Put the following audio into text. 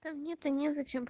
да мне то не зачем